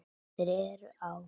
Þeir eru á